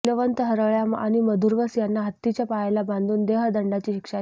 शीलवंत हरळय्या आणि मधुवरस यांना हत्तीच्या पायाला बांधून देहदंडाची शिक्षा दिली